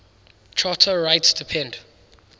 charter rights depend